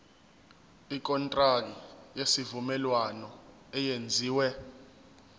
ikontraki yesivumelwano eyenziwe